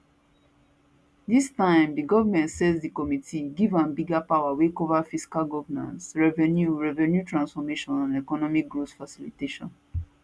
dis time di goment set di committee give am bigger power wey cover fiscal governance revenue revenue transformation and economic growth facilitation